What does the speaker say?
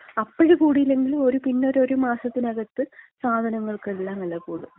അപ്പഴ് കൂടിയില്ലെങ്കിലും ഒരു പിന്ന ഒരു മാസത്തിനകത്ത് സാധനങ്ങൾക്കെല്ലാം വെല കൂടും.